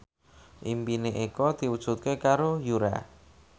impine Eko diwujudke karo Yura